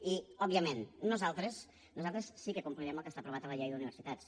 i òbviament nosaltres sí que complirem el que està aprovat a la llei d’universitats